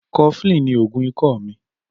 Cofflin ni oogun ikọ mi.